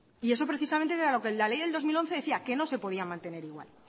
y eso es precisamente lo que la ley del dos mil once decía que no se podía mantener igual